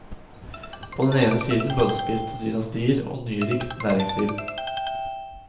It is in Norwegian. På den ene siden møllspiste dynastier og nyrikt næringsliv.